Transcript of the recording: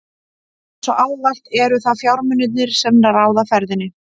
Eins og ávallt eru það fjármunirnir, sem ráða ferðinni.